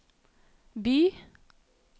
by